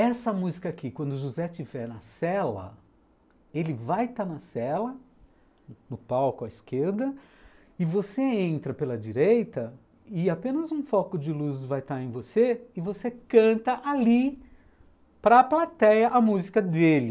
Essa música aqui, quando o José estiver na cela, ele vai estar na cela, no palco à esquerda, e você entra pela direita, e apenas um foco de luz vai estar em você, e você canta ali para a plateia a música dele.